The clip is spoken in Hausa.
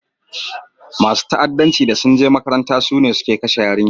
Masun fa'addanci da sun je makarantan su ne sun kashe yarinyan.